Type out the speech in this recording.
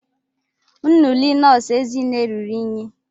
Uniile nọọsụ Ezinne ruru unyi.